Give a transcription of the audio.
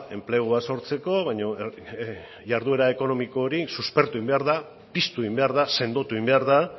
enplegua sortzeko baina jarduera ekonomiko hori suspertu egin behar da piztu egin behar da sendotu egin behar da